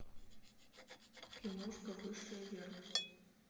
киношка высшая верность